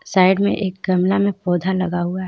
Side में एक गमला में पौधा लगा हुआ है.